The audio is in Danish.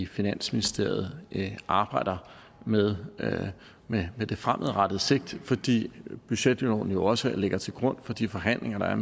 finansministeriet arbejder med med det fremadrettede sigte på fordi budgetloven jo også ligger til grund for de forhandlinger der er